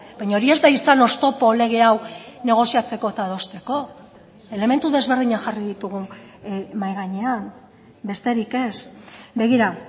baina hori ez da izan oztopo lege hau negoziatzeko eta adosteko elementu desberdinak jarri ditugu mahai gainean besterik ez begira